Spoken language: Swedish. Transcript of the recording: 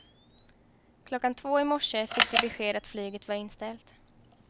Klockan halv två i morse fick de besked att flyget var inställt.